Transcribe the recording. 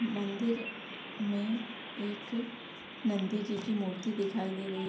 मंदिर में एक नंन्दी जी की मूर्ति दिखाई दे रही।